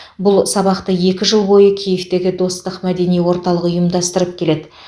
бұл сабақты екі жыл бойы киевтегі достық мәдени орталығы ұйымдастырып келеді